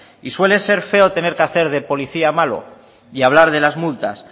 y suele ser feo que tener que hacer de policía malo y hablar de las multas